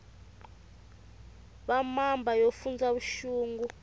va mamba yo fundza vuxungu